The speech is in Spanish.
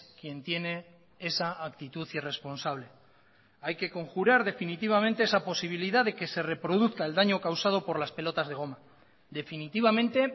quien tiene esa actitud irresponsable hay que conjurar definitivamente esa posibilidad de que se reproduzca el daño causado por las pelotas de goma definitivamente